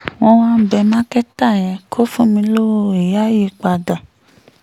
mo wá ń bẹ́ mákẹ́tà yẹn kó fún mi lọ́wọ́ ìyá yìí padà